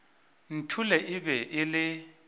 nthole e be e le